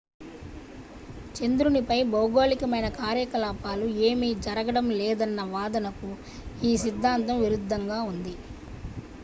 చంద్రునిపై భౌగోళికమైన కార్యకలాపాలు ఏమీ జరగడం లేదన్న వాదనకు ఈ సిద్ధాంతం విరుద్ధంగా ఉంది